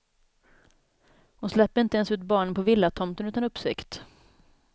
Hon släpper inte ens ut barnen på villatomten utan uppsikt.